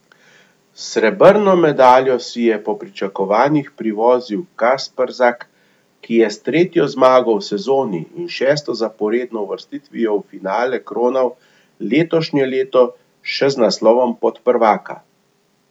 Srebrno medaljo si je po pričakovanjih privozil Kasprzak, ki je s tretjo zmago v sezoni in šesto zaporedno uvrstitvijo v finale kronal letošnje leto še z naslovom podprvaka.